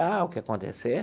Ah, o que acontecer?